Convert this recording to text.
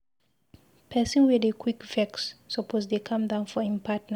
Pesin wey dey quick vex suppose dey calm down for im partner.